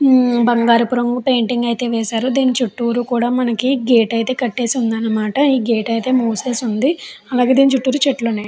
బంగారపు రంగు పెయింటింగ్ అయితే వేశారు. దీని చుట్టూరు కూడా మనకి గేట్ అయితే కట్టేసి ఉందన్నమాట. ఈ గేట్ అయితే ముసెసి ఉంది. అలాగే దీని చుట్టూ చెట్లు ఉన్నాయి.